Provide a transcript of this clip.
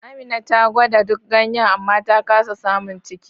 Amina ta gwada duk ganyen amma ta kasa samun ciki.